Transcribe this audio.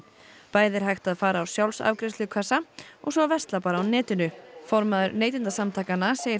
bæði er hægt að fara á og svo versla bara á netinu formaður Neytendasamtakanna segir